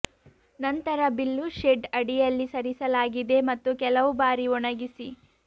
ನಂತರ ಬಿಲ್ಲು ಶೆಡ್ ಅಡಿಯಲ್ಲಿ ಸರಿಸಲಾಗಿದೆ ಮತ್ತು ಕೆಲವು ಬಾರಿ ಒಣಗಿಸಿ